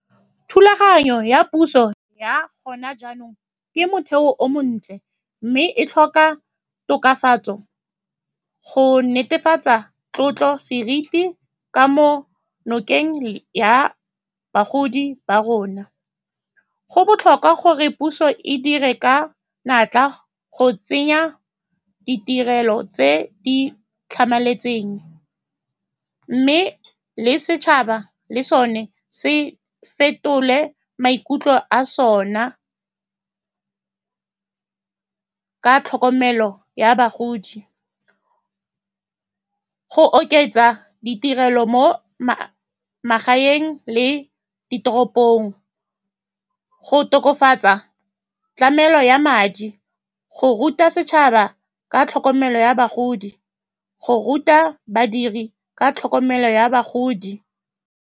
Thulaganyo ya puso ya gona jaanong ke motheo o montle, mme e tlhoka tokafatso go netefatsa tlotlo le seriti ka mo nokeng ya bagodi ba rona. Go botlhokwa gore puso e dire ka natla go tsenya ditirelo tse di tlhamaletseng, mme le setšhaba le sone se fetole maikutlo a sona ka tlhokomelo ya bagodi. Go oketsa ditirelo mo magaeng le ditoropong, go tokafatsa tlamelo ya madi, go ruta setšhaba ka tlhokomelo ya bagodi, le go ruta badiri ka tlhokomelo ya bagodi.